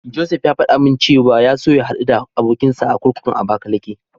Josef ya faɗa min cewa ya so ya haɗu da abokinsa a kurkukun Abakalake.